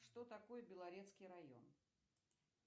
что такое белорецкий район